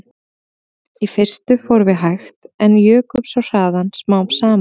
Í fyrstu fórum við hægt en svo jukum við hraðann smám saman